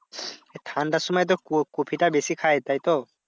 ঠান্ডার সময় তো ক~ কপিটা বেশি খায়। তাইতো?